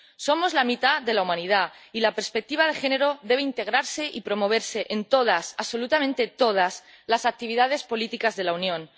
Somos la mitad de la humanidad, y la perspectiva de género debe integrarse y promoverse en todas, absolutamente todas las actividades políticas de la Unión.